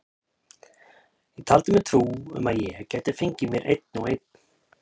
Ég taldi mér trú um að ég gæti fengið mér einn og einn.